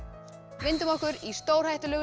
vindum okkur í stórhættulegu